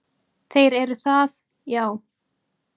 Þeir eru það, já.